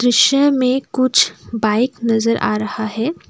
में कुछ बाइक नजर आ रहा है।